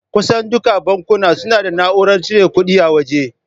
Kusan dukkan bankuna suna da na'urar cire kuɗi a waje.